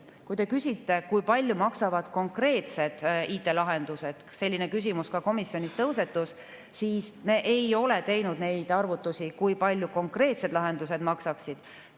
Kui te küsite, kui palju maksavad konkreetsed IT-lahendused – selline küsimus ka komisjonis tõusetus –, siis me ei ole teinud arvutusi, kui palju konkreetsed lahendused maksaksid.